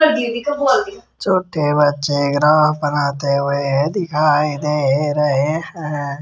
छोटे बच्चे ग्राफ बनाते हुए दिखाई दे रहे हैं।